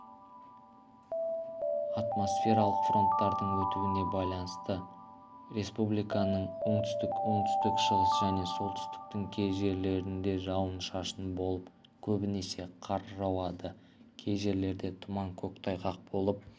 атмосфералық фронттардың өтуіне байланысты республиканың оңтүстік оңтүстік-шығыс және солтүстіктің кей жерлерінде жауын-шашын болып көбінесе қар жауады кей жерлерде тұман көктайғақ болып